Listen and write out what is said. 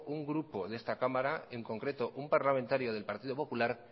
un grupo de esta cámara en concreto un parlamentario del partido popular